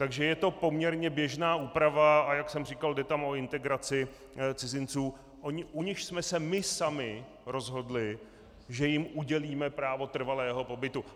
Takže je to poměrně běžná úprava, a jak jsem říkal, jde tam o integraci cizinců, u nichž jsme se my sami rozhodli, že jim udělíme právo trvalého pobytu.